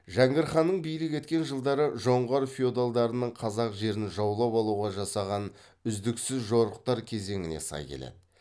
жәңгір ханның билік еткен жылдары жоңғар феодалдарының қазақ жерін жаулап алуға жасаған үздіксіз жорықтар кезеңіне сай келеді